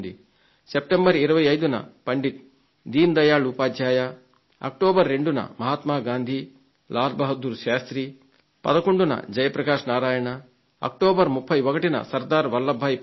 September 25న Pandit Deen Dayal Upadhyaya October 2న మహాత్మ గాంధీ శ్రీ లాల్ బహదూర్ శాస్త్రి 11న శ్రీ జయ ప్రకాశ్ నారాయణ అక్టోబర్ 31న సర్దార్ వల్లభ్ భాయ్ పటేల్